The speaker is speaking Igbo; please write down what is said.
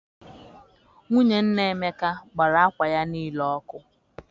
Nwunye nna Emeka gbara akwa ya niile ọkụ.